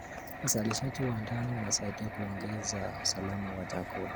Uzalishaji wa ndani unasaidia kuongeza usalama wa chakula.